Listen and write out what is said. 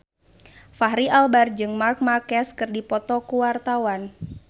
Fachri Albar jeung Marc Marquez keur dipoto ku wartawan